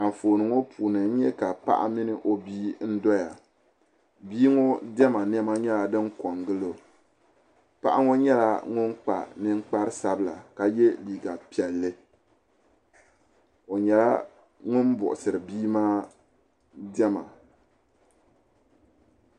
Anfooni ŋɔ puuni paɣa mini o bia n doya bia ŋɔ diɛma niɛma nyɛla din ko n gili o paɣa ŋɔ nyɛla ŋun kpa ninkpari sabla ka ye liiga piɛlli o nyɛla ŋun buɣisiri bia maa diɛma.